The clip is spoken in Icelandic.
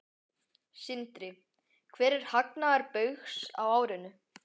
Sindri: Hver er hagnaður Baugs á árinu?